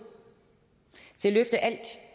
til at løfte alt